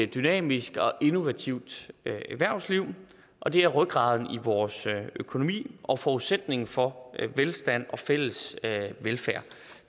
dynamisk og innovativt erhvervsliv og det er rygraden i vores økonomi og forudsætningen for velstand og fælles velfærd